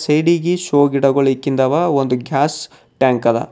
ಸೈಡಿಗಿ ಶೋ ಗಿಡಗೋಳ ಇಕ್ಕಿಂದವ ಒಂದು ಗ್ಯಾಸ್ ಟ್ಯಾಂಕ್ ಅದ.